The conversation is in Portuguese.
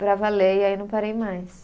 Para valer, e aí não parei mais.